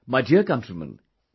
My dear countrymen,